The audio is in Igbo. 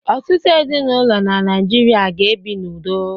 Ọtụtụ ezinụlọ n'Naịjirịa ga-ebi n’udo.